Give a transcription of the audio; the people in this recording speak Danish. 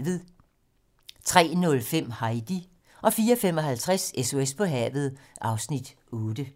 03:05: Heidi 04:55: SOS på havet (Afs. 8)